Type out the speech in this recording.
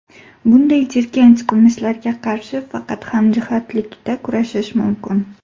Bunday jirkanch qilmishlarga qarshi faqat hamjihatlikda kurashish mumkin.